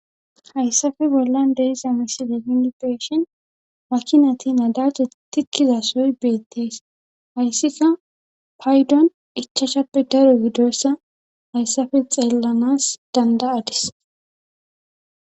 Hayssafe bollan deiza misideyiipeshin makinati nadace tikkizasoy beettees hayssika paydon ichashappe daro gidoyssa hayssafe xeellanas danda'adis